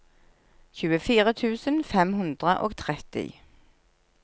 tjuefire tusen fem hundre og tretti